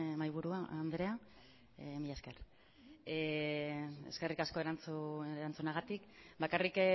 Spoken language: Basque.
mahaiburu andrea mila esker eskerrik asko erantzunagatik bakarrik